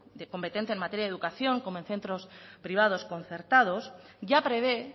de competencia en materia de educación como en centros privados concertados ya prevé